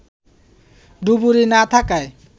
ডুবুরি না থাকায়